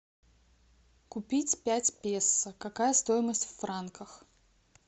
купить пять песо какая стоимость в франках